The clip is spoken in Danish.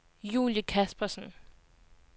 Julie Kaspersen